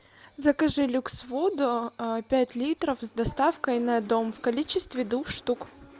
закажи люкс воду пять литров с доставкой на дом в количестве двух штук